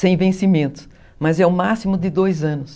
Sem vencimento, mas é o máximo de dois anos.